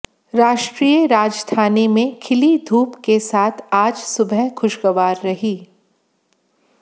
राष्ट्रीय राजधानी में खिली धूप के साथ आज सुबह खुशगवार रही